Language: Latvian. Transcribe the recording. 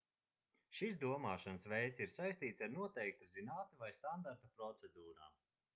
šis domāšanas veids ir saistīts ar noteiktu zinātni vai standarta procedūrām